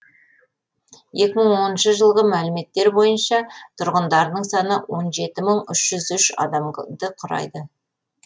екі мың оныншы жылғы мәліметтер бойынша тұрғындарының саны он жеті мың үш жүз адамды құрайды